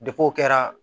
o kɛra